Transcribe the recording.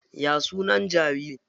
Ya sunan jaririn?